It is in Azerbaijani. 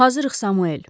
Hazırıq, Samuel.